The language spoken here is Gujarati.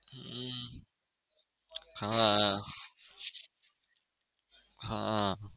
હમ હા હા.